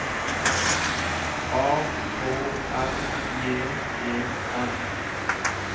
A K S J E N